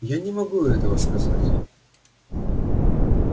я не могу этого сказать